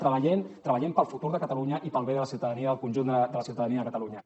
treballem treballem per al futur de catalunya i per al bé de la ciutadania del conjunt de la ciutadania de catalunya